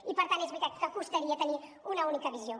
i per tant és veritat que costaria tenir una única visió